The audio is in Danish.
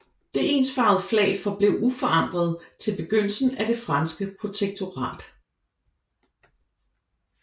Det ensfarvede flag forblev uforandret til begyndelsen af det franske protektorat